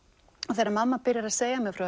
þegar að mamma byrjar að segja mér frá